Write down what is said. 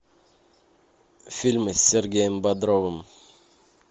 фильмы с сергеем бодровым